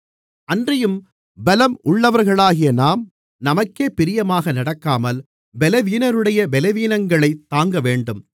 அன்றியும் பலம் உள்ளவர்களாகிய நாம் நமக்கே பிரியமாக நடக்காமல் பலவீனருடைய பலவீனங்களைத் தாங்கவேண்டும்